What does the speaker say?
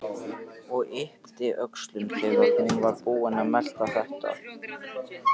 Og yppti öxlum þegar hún var búin að melta þetta.